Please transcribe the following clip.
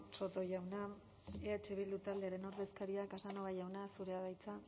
soto jauna eh bildu taldearen ordezkaria casanova jauna zurea da hitza